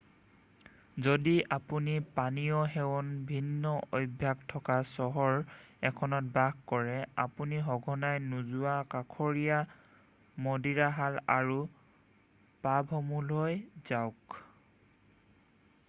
যদি আপুনি পানীয় সেৱনৰ ভিন্ন অভ্যাস থকা চহৰ এখনত বাস কৰে আপুনি সঘনাই নোযোৱা কাষৰীয়া মদিৰাশালা আৰু পাবসমূহলৈ যাওক